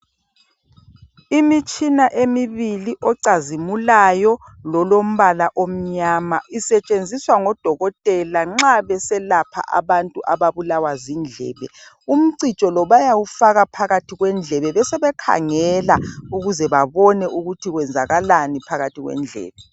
Imitshina emibili ocazimulayo lolombala omnyama isetshenziswa ngodokotela nxa beselapha abantu ababulawa zindlebe umcijo lo bayawufaka phakathi kwendlebe besebekhangela ukuze babone ukuthi kwenzakalani phakathi kwendlebe.